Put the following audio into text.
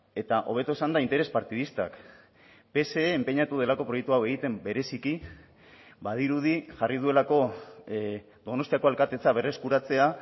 eta hobeto esanda interes partidistak pse enpeinatu delako proiektu hau egiten bereziki badirudi jarri duelako donostiako alkatetza berreskuratzea